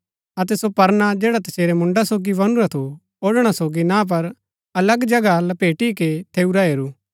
अतै सो परना जैडा तसेरै मुन्डा सोगी बनुरा थू औढ़णा सोगी ना पर अलग जगह लपेटी के थैऊँरा हेरू